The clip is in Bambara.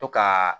To ka